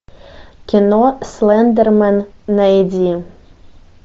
кино слендермен найди